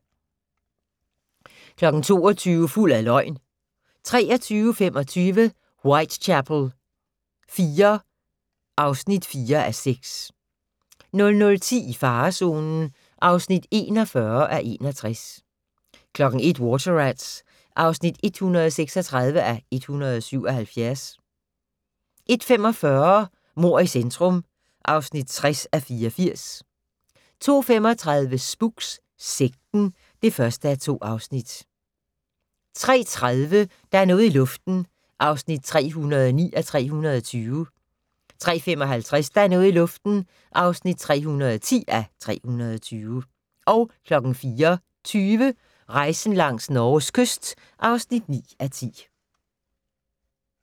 22:00: Fuld af løgn 23:25: Whitechapel IV (4:6) 00:10: I farezonen (41:61) 01:00: Water Rats (136:177) 01:45: Mord i centrum (60:84) 02:35: Spooks: Sekten (1:2) 03:30: Der er noget i luften (309:320) 03:55: Der er noget i luften (310:320) 04:20: Rejsen langs Norges kyst (9:10)